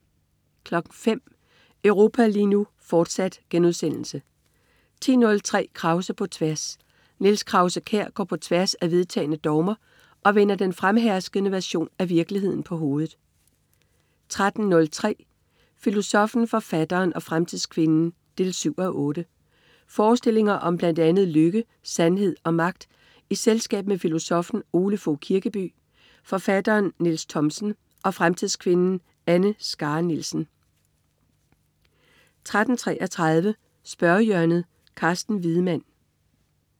05.00 Europa lige nu, fortsat* 10.03 Krause på tværs. Niels Krause-Kjær går på tværs af vedtagne dogmer og vender den fremherskende version af virkeligheden på hovedet 13.03 Filosoffen, forfatteren og fremtidskvinden 7:8. Forestillinger om blandt andet lykke, sandhed og magt i selskab med filosoffen Ole Fogh Kirkeby, forfatteren Niels Thomsen og fremtidskvinden Anne Skare Nielsen 13.33 Spørgehjørnet. Carsten Wiedemann